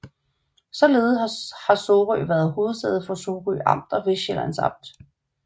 Således har Sorø været hovedsæde for Sorø Amt og Vestsjællands Amt